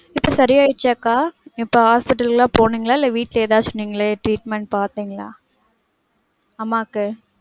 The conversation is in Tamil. இப்ப சரி ஆயிடுச்சாக்கா? இப்ப hospital லாம் போனீங்களா? இல்ல வீட்ல ஏதாச்சும் நீங்களே treatment பாத்திங்களா? அம்மாக்கு.